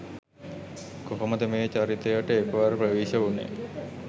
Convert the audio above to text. කොහොමද මේ චරිතයට එක්වර ප්‍රවේශ වුණේ?